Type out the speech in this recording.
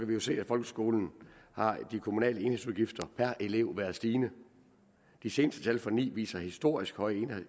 vi jo se at i folkeskolen har de kommunale enhedsudgifter per elev været stigende de seneste tal for ni viser historisk høje